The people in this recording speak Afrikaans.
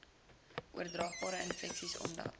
oordraagbare infeksies omdat